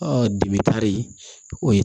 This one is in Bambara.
o ye